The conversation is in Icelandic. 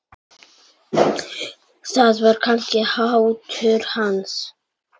Það var kannski háttur hans.